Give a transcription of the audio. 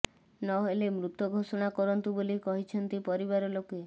ନହେଲେ ମୃତ ଘୋଷଣା କରନ୍ତୁ ବୋଲି କହିଛନ୍ତି ପରିବାର ଲୋକେ